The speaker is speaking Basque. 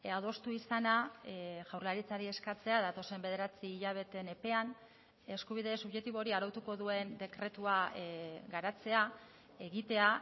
adostu izana jaurlaritzari eskatzea datozen bederatzi hilabeteen epean eskubide subjektibo hori arautuko duen dekretua garatzea egitea